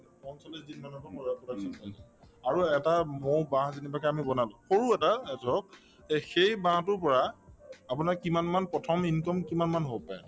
পঞ্চল্লিশ দিন মানৰ পৰা production পাই যাম আৰু এটা মৌবাহ যেনিবাকে আমি বনালো সৰু এটা এ ধৰক এই সেই বাহটোৰ পৰা আপোনাৰ কিমানমান প্ৰথম income কিমানমান হব এনে